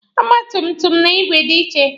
Ọgba tum tum na igwe dị iche.